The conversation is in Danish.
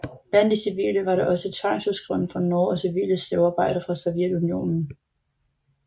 Blandt de civile var der også tvangsudskrevne fra Norge og civile slavearbejdere fra Sovjetunionen